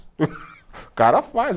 O cara faz.